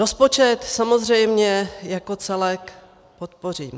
Rozpočet samozřejmě jako celek podpořím.